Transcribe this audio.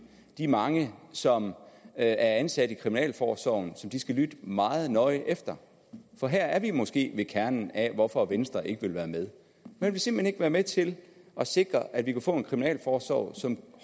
de mange som er ansat i kriminalforsorgen som de skal lytte meget nøje efter for her er vi måske ved kernen af hvorfor venstre ikke vil være med man vil simpelt hen ikke være med til at sikre at vi kan få en kriminalforsorg som